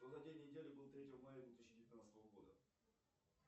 какой день недели был третьего мая две тысячи девятнадцатого года